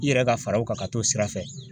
I yɛrɛ ka fara o kan ka t'o sira fɛ.